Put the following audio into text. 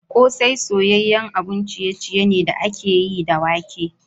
Kose soyayyen abun ciye-ciye ne da aka yi da wake.